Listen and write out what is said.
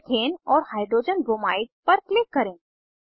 methane और hydrogen bromide पर click करें